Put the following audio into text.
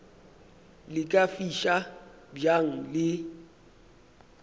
le ka fiša bjang le